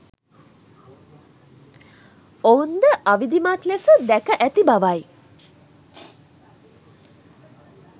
ඔවුන් ද අවිධිමත් ලෙස දැක ඇති බවයි